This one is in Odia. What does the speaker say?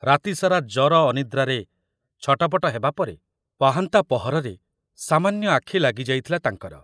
ରାତି ସାରା ଜର ଅନିଦ୍ରାରେ ଛଟପଟ ହେବାପରେ ପାହାନ୍ତା ପହରରେ ସାମାନ୍ୟ ଆଖି ଲାଗି ଯାଇଥିଲା ତାଙ୍କର।